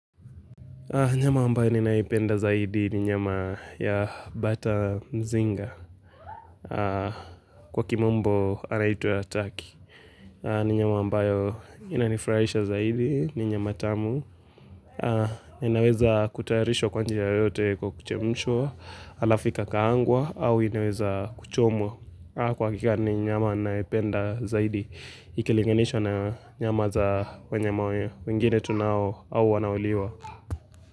Nyama ambayo ninaipenda zaidi ni nyama ya bata Mzinga, kwa kimombo anaitwa Turkey, ni nyama ambayo inanifurahisha zaidi, ni nyama tamu, inaweza kutayarishwa kwa njia yoyote kwa kuchemshwaa, halafu ikakaangwa, au inaweza kuchomwa, kwa hakika ni nyama ninayoipenda zaidi, ikilinganishwa na nyama za wanyama wengine tunao au wanaoliwa.